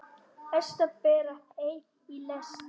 Hestar bera hey í lest.